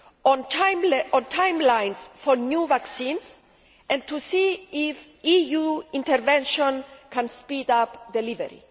on timelines for new vaccines, and to see if EU intervention can speed up delivery.